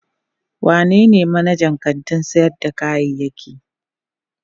Wanene manajan kantin sayar da kayayyaki?